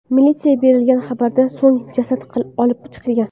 Militsiyaga berilgan xabardan so‘ng jasad olib chiqilgan.